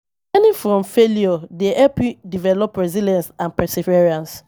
Learning from failure dey help you develop resilience and perseverance.